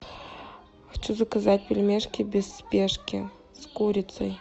хочу заказать пельмешки без спешки с курицей